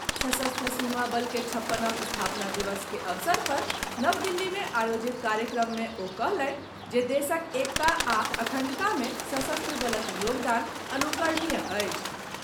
सशस्त्र सीमा बल के छप्पनम स्थापना दिवस के अवसर पर नव दिल्ली में आयोजित कार्यक्रम मे ओ कहलनि जे देशक एकता आ अखण्डता मे सशस्त्र बलक योगदान अनुकरणीय अछि।